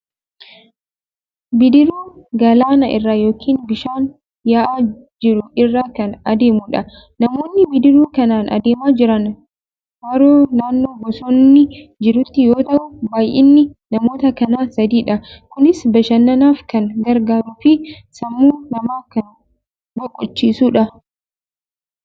Bidiruu galaana irra yookiin bishaan yaa'aa jiru irra kan adeemudha. Namoonni bidiruu kanaan adeemaa jiran haroo naannoo bosonni jirutti yoo ta'u, baay'inni namoota kanaa sadiidha. Kunis bashannanaaf kan gargaaruu fi sammuu namaa kan boqochiisudha.